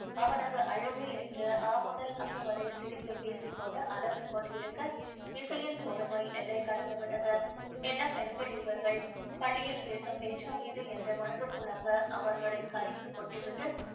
அவனது அழகு என்று ஆ முதல் அக்கு வரை சிரித்து பேசி கொண்டு அலசிக்கொண்டிருக்க இசையின் பொறுமை எல்லையை கடந்து விட்டது என்ன பெண்கள் இவர்கள் பள்ளியில் பேசும் பேச்சா இது என்று மனதிற்குள்ளாக அவர்களை கரித்துக் கொட்டிவிட்டு